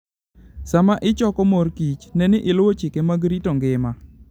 Sama ichoko morkich, ne ni iluwo chike mag rito ngima.